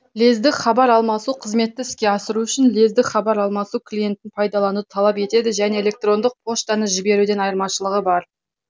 лездік хабар алмасу қызметті іске асыру үшін лездік хабар алмасу клинетін пайдалануды талап етеді және электрондық поштаны жіберуден айымашылығы бар